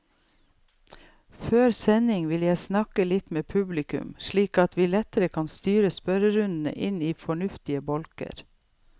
Før sending vil jeg snakke litt med publikum, slik at vi lettere kan styre spørrerundene inn i fornuftige bolker.